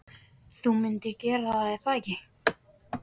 Þú myndir gera það, er það ekki?